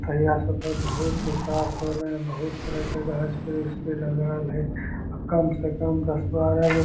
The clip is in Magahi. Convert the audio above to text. तहीया से ओकर बहुत विकाश होले हेय बहुत तरह के गाछ-वृक्ष भी लगाएल हेय अ कम से कम दस बारह गो --